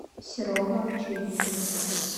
серого овчинникова